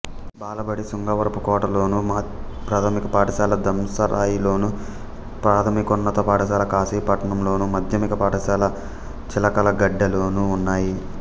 బాలబడి శృంగవరపుకోటలోను ప్రాథమిక పాఠశాల దంసరాయిలోను ప్రాథమికోన్నత పాఠశాల కాశీపట్నంలోను మాధ్యమిక పాఠశాల చిలకలగెడ్డలోనూ ఉన్నాయి